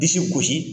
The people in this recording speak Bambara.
Disi gosi